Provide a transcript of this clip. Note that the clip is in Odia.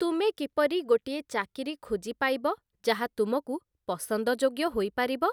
ତୁମେ କିପରି ଗୋଟିଏ ଚାକିରୀ ଖୋଜିପାଇବ ଯାହା ତୁମକୁ ପସନ୍ଦଯୋଗ୍ୟ ହୋଇପାରିବ?